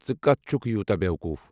ژٕ کتھ چھُکھ یوٗتاہ بیوقوٗف؟